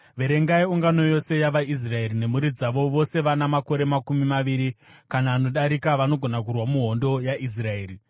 “Verengai ungano yose yavaIsraeri nemhuri dzavo, vose vana makore makumi maviri kana anodarika vanogona kurwa muhondo yaIsraeri.”